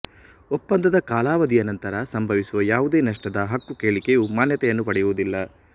ಒಪ್ಪಂದದ ಕಾಲಾವಧಿಯ ನಂತರ ಸಂಭವಿಸುವ ಯಾವುದೇ ನಷ್ಟದ ಹಕ್ಕುಕೇಳಿಕೆಯು ಮಾನ್ಯತೆಯನ್ನು ಪಡೆಯುವುದಿಲ್ಲ